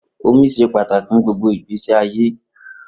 Omi ṣe pataki fun gbogbo igbesi aye.